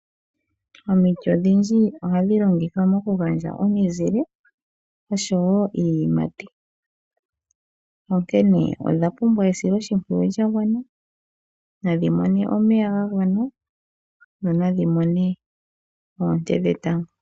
Omiti odhindji ohadhilongithwa mokugandja omizile, oshowo iiyimati. Onkene odhapumbwa esilo shimpwiyu lyagwana, nadhimone omeya gagwana, nonadhimone oonte dhetango.